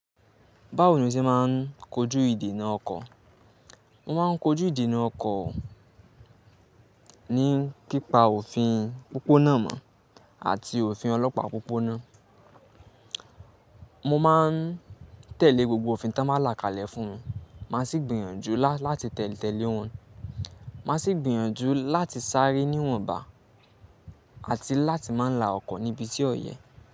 Báwo ni o ṣe máa ń kojú ìdènà ọkọ̀? Mo máa ń kojú ìdènà ọkọ̀ ni pípa òfin pópó náà mọ̀ àti òfin ọlọ́pàá pópó náà. Mo máa ń tẹ̀lé gbogbo òfin tí wọ́n bá là kalẹ̀ fún mi, má sì gbìyànjú láti tẹ̀lé wọn. Má sì gbìyànjú láti sáré níwọ̀nba àti láti má la ọkọ̀ níbi tí ò yẹ.